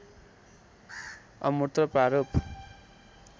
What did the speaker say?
अमूर्त प्रारूप